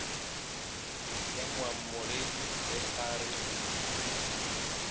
ya moamogedi ge a re